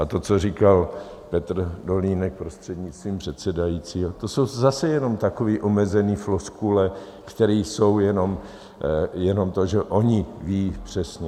A to, co říkal Petr Dolínek, prostřednictvím předsedajícího, to jsou zase jenom takové omezené floskule, které jsou jenom to, že oni vědí přesně.